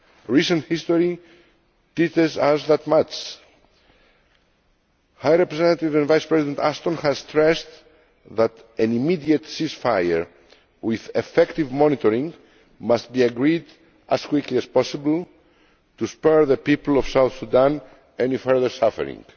Recent history teaches us that much. High Representative Vice President Ashton has stressed that an immediate ceasefire with effective monitoring must be agreed as quickly as possible in order to spare the people of South Sudan any further suffering.